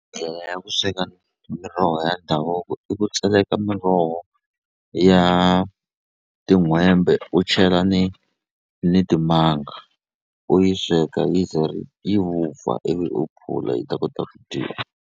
Ndlela ya ku sweka miroho ya ndhavuko i ku tseleka miroho ya tin'hwembe u chela ni ni timanga u yi sweka yi ze yi vupfa ivi u phula yi ta kota ku dyiwa.